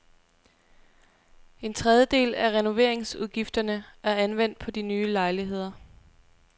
En tredjedel af renoveringsudgifterne er anvendt på de nye lejligheder.